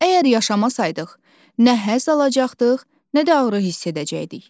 Əgər yaşamasaydıq, nə həzz alacaqdıq, nə də ağrı hiss edəcəkdik.